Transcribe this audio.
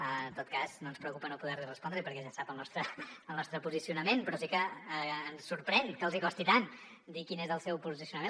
en tot cas no ens preocupa no poder li respondre hi perquè ja sap el nostre posicionament però sí que ens sorprèn que els costi tant dir quin és el seu posicionament